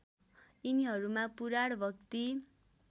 यिनीहरूमा पुराण भक्ति